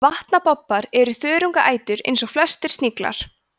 vatnabobbar er þörungaætur eins og flestir sniglar